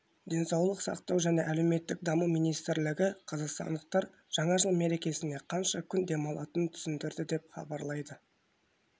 денсаулық сақтау және әлеуметтік даму министрлігі қазақстандықтар жаңа жыл мерекесіне қанша күн демалатынын түсіндірді деп хабарлайды